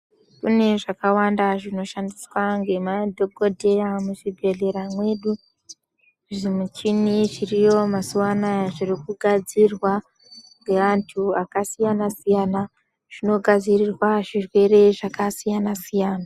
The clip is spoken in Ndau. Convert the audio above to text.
Mune zvakawanda zvinoshandiswa ngema dhokodheya muzvibhedhlera mwedu, zvimuchini zviriyo mazuwa anaya zviri kugadzirwa ngeandu akasiyana siyana zvinogadzirirwa zvirwere zvakasiyana siyana.